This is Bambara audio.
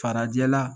Farajɛla